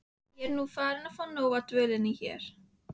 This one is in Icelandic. Ég er nú farin að fá nóg af dvölinni hér.